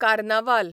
कार्नावाल